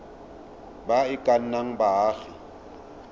ba e ka nnang baagi